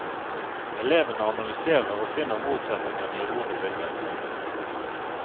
Elevene analyserer og finner motsetningene i ord og bilder.